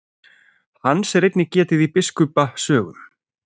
Hans er einnig getið í biskupa sögum.